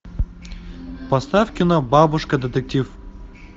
поставь кино бабушка детектив